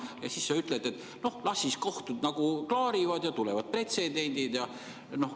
Ja siis sa ütled, et las kohtud klaarivad ja tulevad pretsedendid.